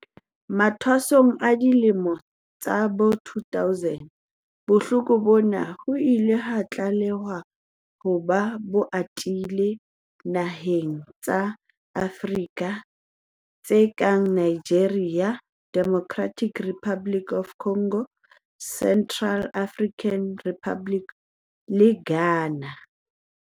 Mathwasong a dilemo tsa bo 2000, bohloko bona ho ile ha tlalehwa ha bo atile dinaheng tsa Afrika tse kang Nigeria, Democratic Republic of the Congo, Central African Republic le Ghana.